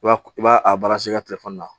I b'a i b'a a i ka telefɔni na